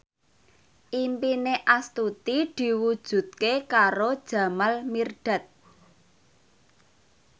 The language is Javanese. impine Astuti diwujudke karo Jamal Mirdad